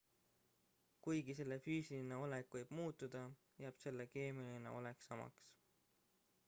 kuigi selle füüsiline olek võib muutuda jääb selle keemiline olek samaks